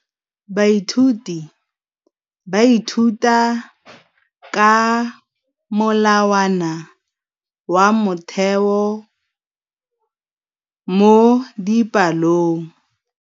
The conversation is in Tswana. Baithuti ba ithuta ka molawana wa motheo mo dipalong.